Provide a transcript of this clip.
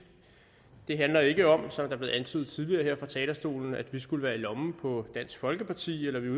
det handler ikke om som det blev antydet tidligere her fra talerstolen at vi skulle være i lommen på dansk folkeparti eller at vi